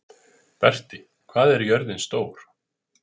Berti, hvað er jörðin stór?